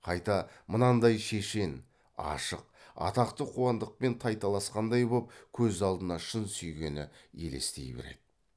қайта мынандай шешен ашық атақты қуандықпен тайталасқандай боп көз алдына шын сүйгені елестей береді